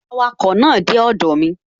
Awakọ̀ náà dé ọdọ̀ mi